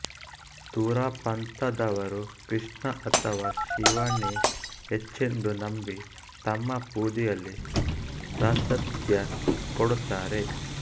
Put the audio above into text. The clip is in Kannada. ತುರಾ ಪಂಥದವರು ಕೃಷ್ಣ ಅಥವಾ ಶಿವನೇ ಹೆಚ್ಚೆಂದು ನಂಬಿ ತಮ್ಮ ಪೂಜೆಯಲ್ಲಿ ಪ್ರಾಶಸ್ತ್ಯ ಕೊಡುತ್ತಾರೆ